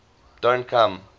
don t come